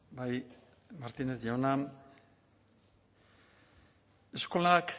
bai martínez jauna eskolak